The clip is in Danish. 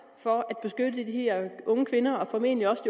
for at beskytte de her unge kvinder og formentlig også